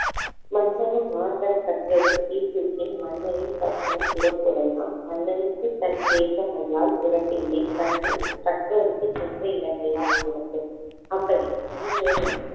மன்னனும் மாசறக் கற்றோனும் சீர்தூக்கின் மன்னனின் கற்றோன் சிறப்புடையான் மன்னனுக்கு தன்தேசம் அல்லால் சிறப்பில்லை கன்ரொ~ கற்றோருக்கு சென்ற இடமெல்லாம் சிறப்பு. அப்படி மூதுரை என்னும்